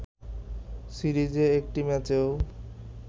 সিরিজে একটি ম্যাচও